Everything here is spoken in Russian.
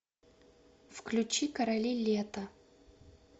включи короли лета